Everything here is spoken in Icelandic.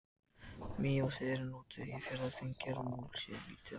Mývatnshettan var notuð í Eyjafjarðar-, Þingeyjar- og Múlasýslum en lítið annars staðar.